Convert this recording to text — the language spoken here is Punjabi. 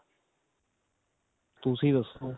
ਤੁਸੀਂ ਦੱਸੋ